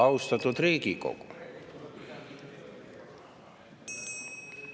Austatud Riigikogu!